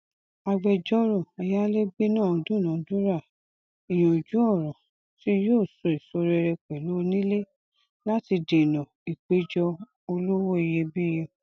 agbẹjọrò ayálégbé náà dúnàádúrà ìyanjú ọrọ tí yóò so èso rere pẹlú onílé láti dènà ìpẹjọ olówó iyebíye